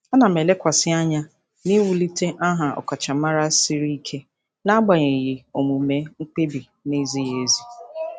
Ana m elekwasị anya n'iwulite aha ọkachamara siri ike n'agbanyeghị omume mkpebi na-ezighị ezi.